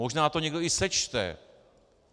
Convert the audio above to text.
Možná to někdo i sečte.